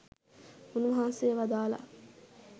උන්වහන්සේ වදාළා